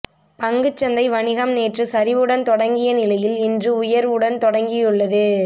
பங்குச்சந்தை வணிகம் நேற்று சரிவுடன் தொடங்கிய நிலையில் இன்று உயர்வுடன் தொடங்கியுள்ளது